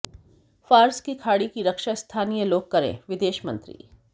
Fars की खाड़ी की रक्षा स्थानीय लोग करेंः विदेशमंत्री